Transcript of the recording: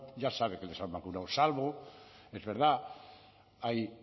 ya sabe que les han vacunado salvo es verdad hay